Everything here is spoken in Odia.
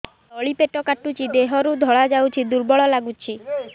ତଳି ପେଟ କାଟୁଚି ଦେହରୁ ଧଳା ଯାଉଛି ଦୁର୍ବଳ ଲାଗୁଛି